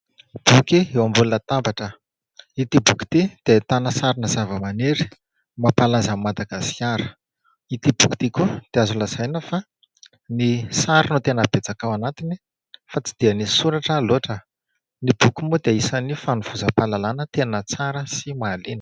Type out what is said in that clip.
Boky eo ambony latabatra. Ity boky ity dia ahitana sarina zava-maniry mampalaza an'i Madagasikara. Ity boky ity koa dia azo lazaina fa ny sary no tena betsaka ao anatiny fa tsy dia ny soratra loatra. Ny boky moa dia isan'ny fanovozam-pahalalana tena tsara sy mahaliana.